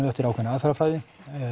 eftir ákveðinni aðferðarfræði